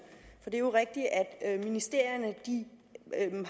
er jo rigtigt at ministerierne